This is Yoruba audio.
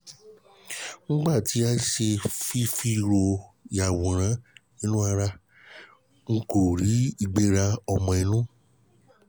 nígbà tí a ṣe ìfìró-yàwòrán-inú-ara a um kò rí ìgbéra ọmọ-inú